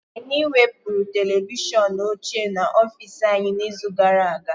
Anyị wepụrụ televishọn ochie n'ọfịs anyị n'izu gara aga